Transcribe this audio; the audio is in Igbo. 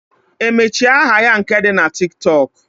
Emechi aha ya nke di na Tiktok?